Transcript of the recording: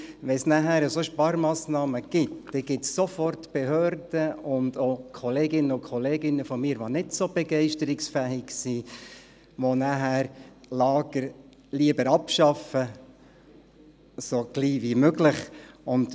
Wenn es danach solche Sparmassnahmen gibt, gibt es sofort Behörden und auch Kolleginnen und Kollegen von mir, die nicht so begeisterungsfähig sind, die die Lager lieber so schnell wie möglich abschaffen.